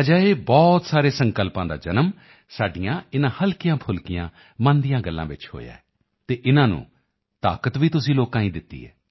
ਅਜਿਹੇ ਬਹੁਤ ਸਾਰੇ ਸੰਕਲਪਾਂ ਦਾ ਜਨਮ ਸਾਡੀਆਂ ਇਨ੍ਹਾਂ ਹਲਕੀਆਂਫੁਲਕੀਆਂ ਮਨ ਦੀਆਂ ਗੱਲਾਂ ਚ ਹੋਇਆ ਹੈ ਅਤੇ ਇਨ੍ਹਾਂ ਨੂੰ ਤਾਕਤ ਵੀ ਤੁਸੀਂ ਲੋਕਾਂ ਨੇ ਹੀ ਦਿੱਤੀ ਹੈ